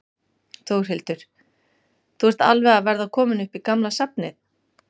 Þórhildur: Þú ert alveg að verða kominn upp í gamla safnið?